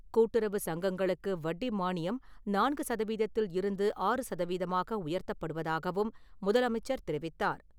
கூட்டுறவு சங்கங்களுக்கு வட்டி மானியம் நான்கு சதவீதத்தில் இருந்து ஆறு சதவீதமாக உயர்த்தப்படுவதாகவும் முதலமைச்சர் தெரிவித்தார்.